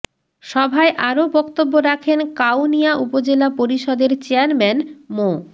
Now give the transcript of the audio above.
সভায় আরও বক্তব্য রাখেন কাউনিয়া উপজেলা পরিষদের চেয়ারম্যান মো